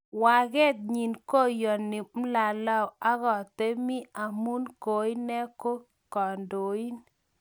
wakeet nyi koyone mlaleo akatemy amu koinee ko kandoin